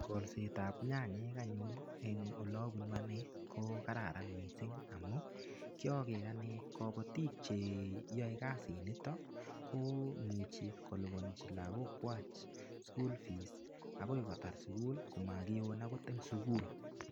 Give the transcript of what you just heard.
Kolsetab nyanyik anyun en olebunu anee ko kararan mising amun kioker anee kobotik cheyoe kasiniton komuchi kolibonji lokokwak school fees akoi kotar sukul komokiwon akot en sukul.